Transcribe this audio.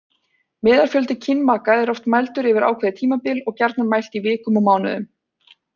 Meðalfjöldi kynmaka er oft mældur yfir ákveðið tímabil og gjarnan mælt í vikum og mánuðum.